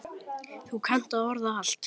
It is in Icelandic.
Þú kannt að orða allt.